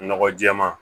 Nɔgɔ jɛman